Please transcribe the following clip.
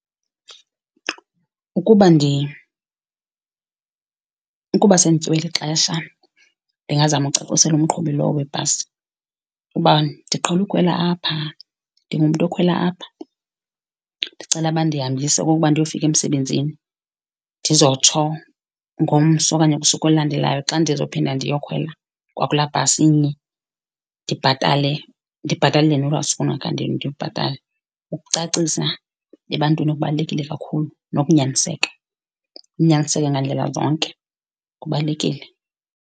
Ukuba ukuba sendityiwe lixesha ndingazama ukucacisela umqhubi lowo webhasi ukuba ndiqhela ukhwela apha, ndingumntu okhwela apha. Ndicela bandihambise okokuba ndiyofika emsebenzini ndizotsho ngomso okanye kusuku olulandelayo xa ndizophinda ndiyokhwela kwakulaa bhasi inye, ndibhatale ndibhatalele nolwaa suku endingakhange ndilibhatale. Ukucacisa ebantwini kubalulekile kakhulu nokunyaniseka. Unyaniseke ngandlela zonke kubalulekile.